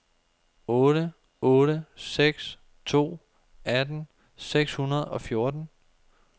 otte otte seks to atten seks hundrede og fjorten